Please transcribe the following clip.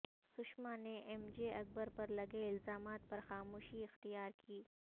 سشما نے M J Akbar پر لگے الزامات پر خاموشی اختیار کی